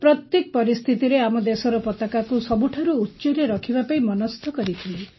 ପ୍ରତ୍ୟେକ ପରିସ୍ଥିତିରେ ଆମ ଦେଶର ପତାକାକୁ ସବୁଠାରୁ ଉଚ୍ଚରେ ରଖିବା ପାଇଁ ମନସ୍ଥ କରିଥିଲି